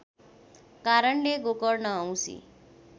कारणले गोकर्ण औसी